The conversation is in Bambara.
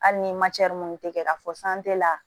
Hali ni minnu tɛ kɛ a fɔ la